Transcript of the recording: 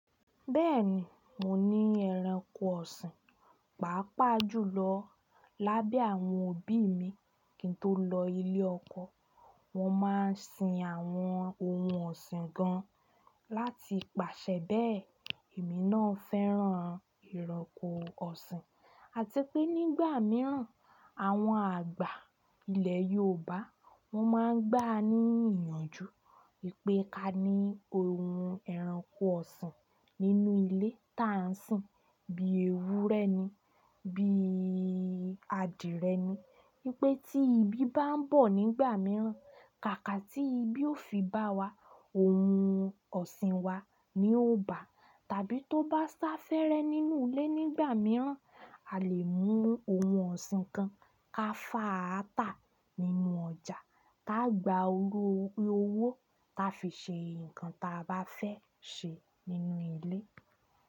Bẹ́ẹ̀ni, mo ní ẹranko ọ̀sìn. Paapaa ju lọ, lábẹ́ àwọn òbí mi kí n tó lọ ilé ọkọ, wọ́n máa ń sin àwọn ohun ọ̀sìn gan láti pàṣẹ bẹ́ẹ̀. Èmi náà fẹ́ràn ẹranko ọ̀sìn àti pé nígbà mìíràn, àwọn àgbà ilẹ̀ Yorùbá, wọ́n máa ń gbà ní ìyànjú wì pé ka ní ohun ẹranko ọ̀sìn nínú ilé tá ń sìn bí ewúrẹ́ ni, bí adìẹ ni. Wípé tí ibi bá ń bọ̀ nígbà mìíràn, kàkà tí ibi ó fi bá wa, ohun ọ̀sìn wa ni yó bá tàbí tó bá sá fẹ́rẹ́ nínú ilé nígbà mìíràn, a lè mú ohun ọ̀sìn kan ka fàátà nínú ọjà, ká gba owó ta fi ṣe nǹkan ta bá fẹ́ ṣe nínú ilé.